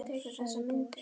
sagði Bóas.